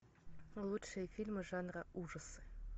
лучшие фильмы жанра ужасы